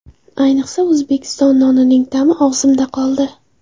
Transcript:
Ayniqsa, O‘zbekiston nonining ta’mi og‘zimda qoldi.